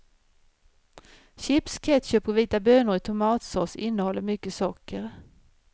Chips, ketchup och vita bönor i tomatsås innehåller mycket socker.